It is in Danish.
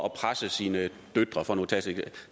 at presse sine døtre